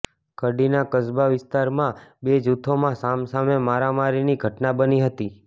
કડીના કસ્બા વિસ્તારમાં બે જૂથોમાં સામસામે મારામારીની ઘટના બની હતી